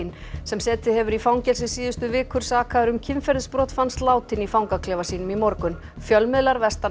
sem setið hefur í fangelsi síðustu vikur sakaður um kynferðisbrot fannst látinn í fangaklefa sínum í morgun fjölmiðlar vestanhafs